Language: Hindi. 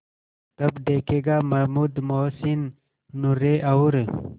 तब देखेगा महमूद मोहसिन नूरे और